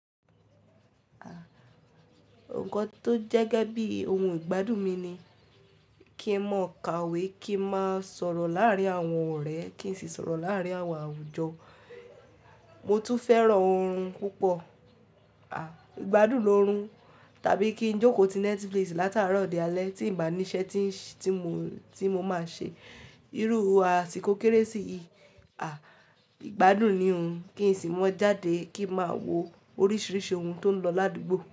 Nǹkan tó jẹ́ gẹ́gẹ́ bí ohun ìgbádùn mi ni kí n mọ kàwé, kí n máa sọ̀rọ̀ láàárín àwọn ọ̀rẹ́, kí n sì sọ̀rọ̀ láàárín àwọn àwùjọ. Mo tún fẹ́ràn orun púpọ̀, à ìgbádùn lórun tàbí kí n jókòó ti Netflix látàárọ̀ dí alẹ́ tí ìbá ni iṣẹ́ tí n ṣe tí mo máa ṣe, irúu àsìkò kérésì yi, à ìgbádùn ni ò, kí n sì mọ́ jáde kí n máa wo oríṣiríṣi ohun tó ń lọ ládùúgbò.